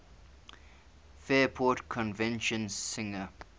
fairport convention singer